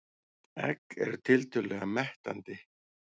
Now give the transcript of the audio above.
Egg eru tiltölulega mettandi.